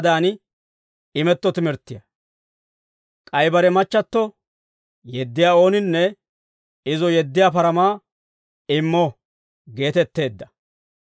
« ‹K'ay bare machchatto yeddiyaa ooninne izo yeddiyaa paramaa immo› geetetteedda.